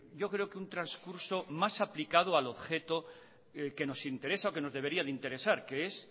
yo creo que un trascurso más aplicado al objeto que nos interesa o que nos debería interesar que es